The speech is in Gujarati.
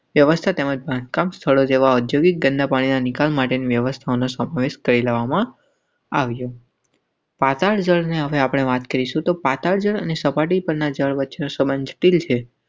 તે વસ્તુ તેમજ બાંધકામ છોડી દેવા જોગી ગંદા પાણીના નિકાલ માટેની વ્યવસ્થાના સોંગ્સ કરી લેવામાં. પાતાળ જળને આપણે વાત કરીશું અને સપાટી પરના જળ વચ્ચે સંબંધ દિલ હૈ.